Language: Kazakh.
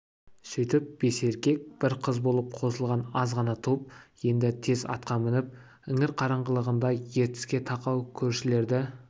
сөйтіп бес еркек бір қыз болып қосылған аз ғана топ енді тез атқа мініп іңір қараңғылығында ертіске тақау көшелерді